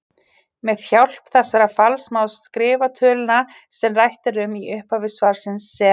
Með hjálp þessa falls má skrifa töluna sem rætt er um í upphafi svarsins sem